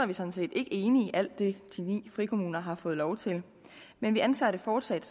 vi sådan set ikke enige i alt det de ni frikommuner har fået lov til men vi anser det fortsat